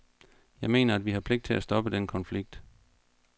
Jeg mener, at vi har pligt til at stoppe den konflikt.